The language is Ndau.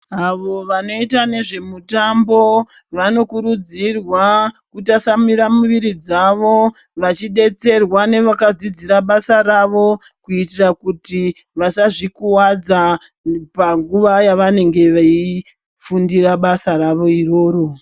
Avo vanoita nezvemitambo vanokurudzirwa kutasamura muviri dzavo vachidetserwa nevakadzidzira basa ravo kuitira kuti vasazvikuvadza panguwa yavanenge vachifundira basa rawo iroro.